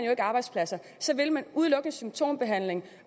og arbejdspladser så vil man udelukkende have symptombehandling